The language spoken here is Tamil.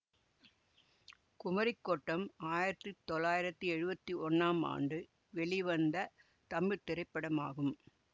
குமரிக் கோட்டம் ஆயிரத்தி தொள்ளாயிரத்தி எழுவத்தி ஒன்னாம் ஆண்டு வெளிவந்த தமிழ் திரைப்படமாகும்